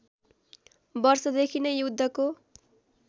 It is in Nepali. वर्षदेखि नै युद्धको